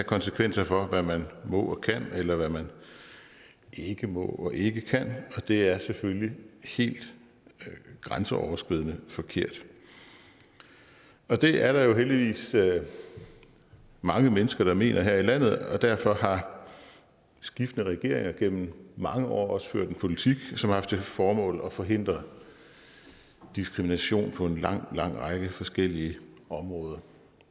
konsekvenser for hvad man må og kan eller hvad man ikke må og ikke kan og det er selvfølgelig helt grænseoverskridende og forkert det er der heldigvis mange mennesker der mener her i landet og derfor har skiftende regeringer igennem mange år også ført en politik som har haft til formål at forhindre diskrimination på en lang række forskellige områder